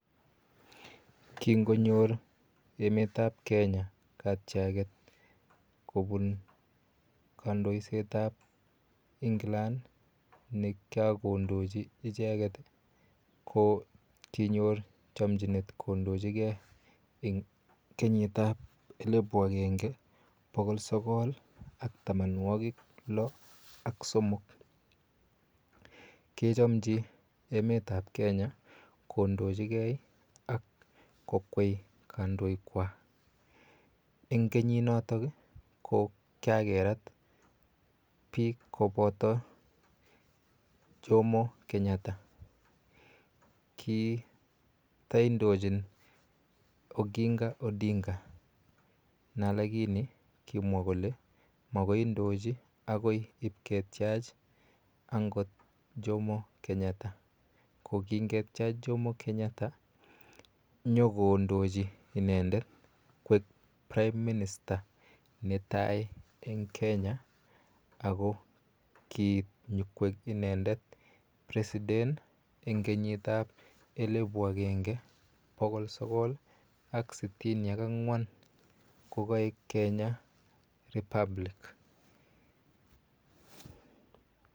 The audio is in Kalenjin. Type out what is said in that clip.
Kingonyor emet ap Kenya katiaket koun kandoiset ap England ne kiakondochi icheget, ko kinyor chamchinet kondochigei eng' kenyit ap elipu agenge poko sokol ak tamanwaguk lo ak somok kechamchi emetap Kenya kondochige ak kokwei kandoikwak. Eng' kenyinotok i, ko kikakerat piik kopoto Jomo Kenyatta. Kitaindochin Oginga Odinga lakini kimwa kole makoi indochi akoi ipketyach angot Jomo Kenyatta. Ko kingetyach Jomo Kenyatta nyu kondochi inendet koek prime minister ne tai eng' ak kiit nyukoik inendet nyu koik president eng' kenyit ap elipu agenge ak pokol sokol ak sitini ak ang'wan ko kaek Kenya Republic.